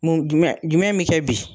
Mun jumɛn jumɛn mi kɛ bi ?